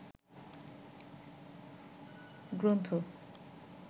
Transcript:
গ্রন্থ